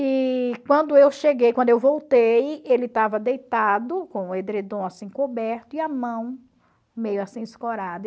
E quando eu cheguei, quando eu voltei, ele estava deitado com o edredom assim coberto e a mão meio assim escorada.